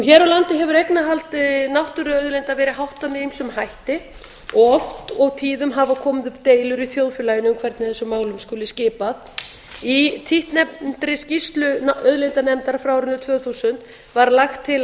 hér á landi hefur eignarhaldi náttúruauðlinda verið háttað með ýmsum hætti og oft og tíðum hafa komið upp deilur í þjóðfélaginu um hvernig þessum málum skuli skipað í títtnefndri skýrslu auðlindanefndar frá árinu tvö þúsund var lagt til að